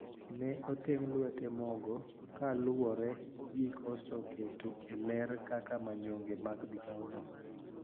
Ne oteng` lwete mogo kaluwore gi koso keto e ler kaka manyonge mag migao no